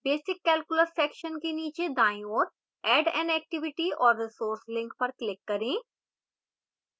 basic calculus section के नीचे दाईं ओर add an activity or resource link पर click करें